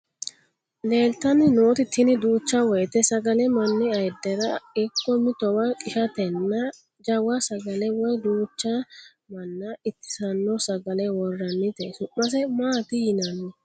Leeltanni noot tini Duucha woyte sagale manni ayidera ikko mitowa qishatenna jawa sagale woy duucha manna itissanno sagale worranite. Su'mase maat yiinaanni?